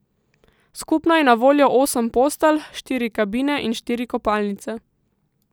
Skupno je na voljo osem postelj, štiri kabine in štiri kopalnice.